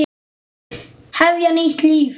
Hefja nýtt líf.